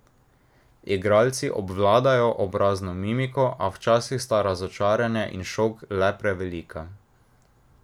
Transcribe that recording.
Igralci obvladajo obrazno mimiko, a včasih sta razočaranje in šok le prevelika.